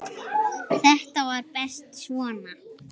Þetta var best svona.